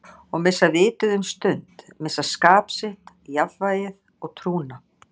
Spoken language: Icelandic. Og missa vitið um stund, missa skap sitt, jafnvægið og trúna.